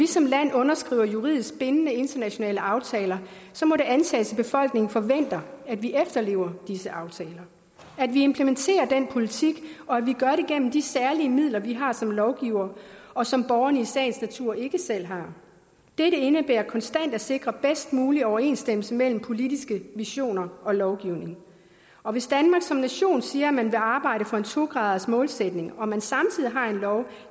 som land underskriver juridisk bindende internationale aftaler må det antages at befolkningen forventer at vi efterlever disse aftaler at vi implementerer den politik og at vi gør det gennem de særlige midler vi har som lovgivere og som borgerne i sagens natur ikke selv har dette indebærer konstant at sikre bedst mulig overensstemmelse mellem politiske visioner og lovgivning og hvis danmark som nation siger at man vil arbejde for en to gradersmålsætning og hvis man samtidig har en lov